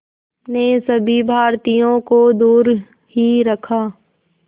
ने सभी भारतीयों को दूर ही रखा